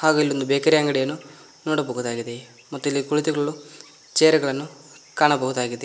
ಇಲ್ಲಿ ಒಂದು ಬೇಕರಿ ಅಂಗಡಿಯನ್ನು ನೋಡಬಹುದಾಗಿದೆ ಇಲ್ಲಿ ಕುಳಿತಿರಲು ಚೇರ್ ಗಳನ್ನು ಕಾಣಬಹುದಾಗಿದೆ.